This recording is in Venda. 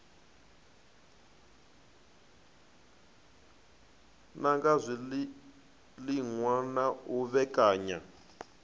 nanga zwiliṅwa na u vhekanya